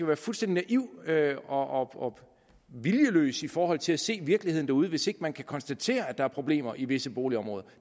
være fuldstændig naiv og viljeløs i forhold til at se virkeligheden derude hvis man ikke kan konstatere at der er problemer i visse boligområder